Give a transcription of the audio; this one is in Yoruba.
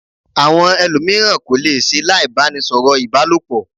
Àwọn ẹlòmíràn kò le se láì bá ni sọ̀rọ̀ ìbálòpọ̀